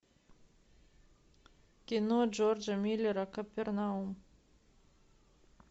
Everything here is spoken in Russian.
кино джорджа миллера капернаум